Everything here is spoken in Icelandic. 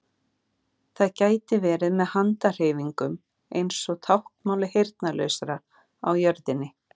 Það gæti verið með handahreyfingum eins og táknmáli heyrnarlausra á jörðinni.